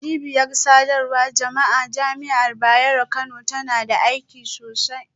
Cibiyar sadarwar jama'a a Jami'ar Bayero Kano tana da aiki sosai.